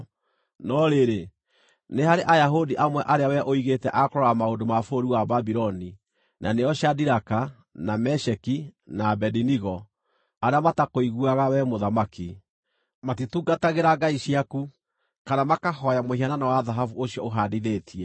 No rĩrĩ, nĩ harĩ Ayahudi amwe arĩa wee ũigĩte a kũrora maũndũ ma bũrũri wa Babuloni, na nĩo Shadiraka, na Meshaki, na Abedinego, arĩa matakũiguaga, wee mũthamaki. Matitungatagĩra ngai ciaku, kana makahooya mũhianano wa thahabu ũcio ũhandithĩtie.”